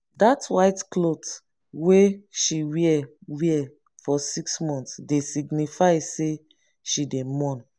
dat white clot wey she wear wear for six mont dey signify sey she dey mourn.